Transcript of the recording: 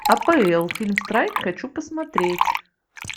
апл фильм страйк хочу посмотреть